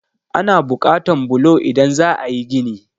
Ana buƙatan bulo idan za a yí gini.